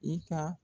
I ka